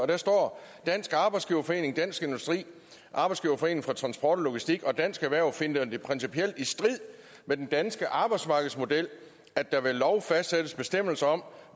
der står at dansk arbejdsgiverforening dansk industri arbejdsgiverforeningen for transport og logistik og dansk erhverv finder det principielt i strid med den danske arbejdsmarkedsmodel at der ved lov fastsættes bestemmelser om